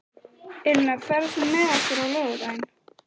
Elína, ferð þú með okkur á laugardaginn?